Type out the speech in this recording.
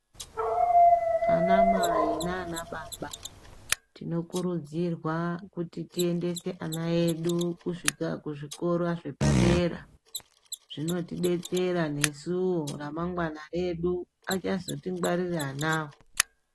Ana mai nana baba tinokurudzirwa kuti tiendese ana edu kuzvikora zvepadera, zvinotidetsera nesuwo ramangwana redu achazotingwarira anawo.